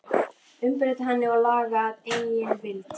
Umbreyta henni og laga að eigin vild?